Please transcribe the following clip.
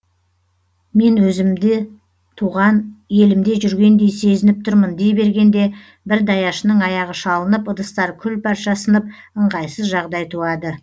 мен өзімде туған елімде жүргендей сезініп тұрмын дей бергенде бір даяшының аяғы шалынып ыдыстар күл парша сынып ыңғайсыз жағдай туады